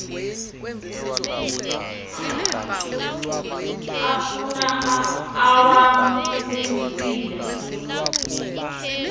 afun awam umsila